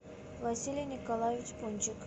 василий николаевич пончик